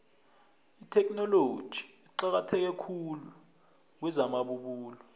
itheknoloji iqakatheke khulu kwezamabubulo